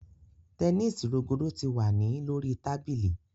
Tẹnisi rogodo ti wa ni lori tabili